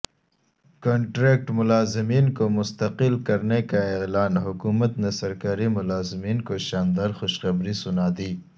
contract ملازمین کومستقل کرنےکااعلان حکومت نےسرکاری ملازمین کوشاندارخوشخبری سنادی